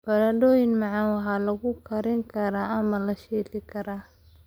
Baradhada macaan waxaa lagu kari karaa ama la shiili karaa.